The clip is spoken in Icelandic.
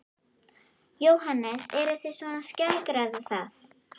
Jóhannes: Eruð þið svona að skeggræða það?